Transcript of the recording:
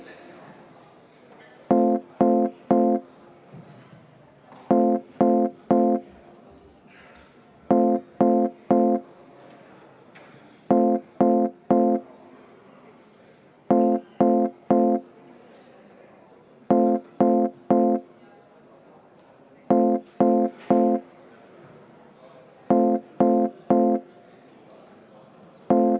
Jätkame kell 19.11.41.